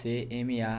Ce eme a